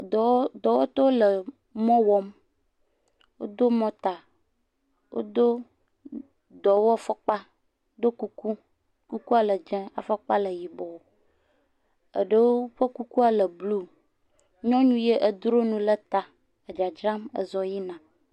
Dɔwɔtɔwo le mɔ wɔm, wodo mɔta, wodo dɔwɔfɔkpa, ɖɔ kuku. Kukua le dzɛ afɔkpa wɔ yibɔ, eɖewo ƒe kuku le blu, nyɔnu ya edro nu ɖe ta dzadzram ezɔ yina.